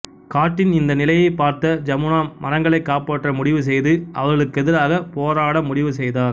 காட்டின் இந்த நிலையைப் பார்த்த ஜமுனா மரங்களை காப்பாற்ற முடிவு செய்து அவர்களுகெதிராக போரட முடிவு செய்தார்